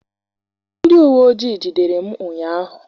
Ndị uweojii jidere m ụnyaahụ.